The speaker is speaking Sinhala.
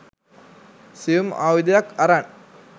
සියුම් ආයුධයක් අරන්